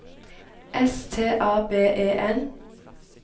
S T A B E N